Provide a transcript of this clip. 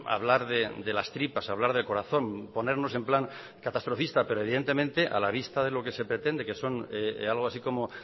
hablar de las tripas hablar de corazón ponernos en plan catastrofista pero evidentemente a la vista de lo que se pretende que son algo así como